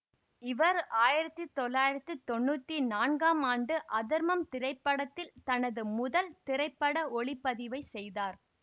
இவர் ஆயிரத்தி தொள்ளாயிரத்தி தொன்னூற்தி நான்காம் ஆண்டு அதர்மம் திரைப்படத்தில் தனது முதல் திரைப்பட ஒளிப்பதிவைச் செய்தார்